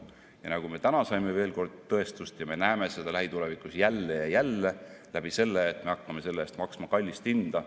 Täna me saime sellele veel kord tõestust ja me näeme seda ka lähitulevikus jälle ja jälle läbi selle, et me hakkame selle eest maksma kallist hinda.